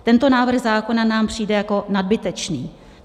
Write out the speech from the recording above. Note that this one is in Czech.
Tento návrh zákona nám přijde jako nadbytečný.